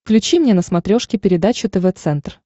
включи мне на смотрешке передачу тв центр